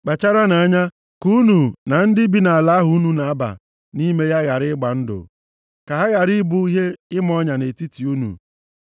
Kpacharanụ anya ka unu na ndị bi nʼala ahụ unu na-aba nʼime ya ghara ịgba ndụ. Ka ha ghara ị bụ ihe ịma nʼọnya nʼetiti unu.